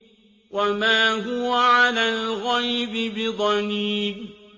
وَمَا هُوَ عَلَى الْغَيْبِ بِضَنِينٍ